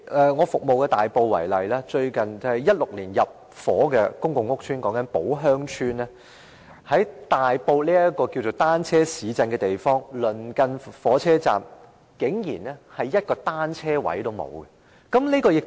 以我服務的大埔為例，在2016年入伙的公共屋邨寶鄉邨，在大埔這個稱為單車市鎮的地方，火車站鄰近竟然一個單車車位也沒有。